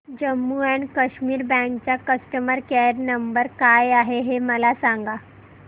Jammu and Kashmir bank चा customer care number काय आहे हे मला सांगा